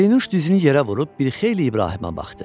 Pərinuş dizini yerə vurub bir xeyli İbrahimə baxdı.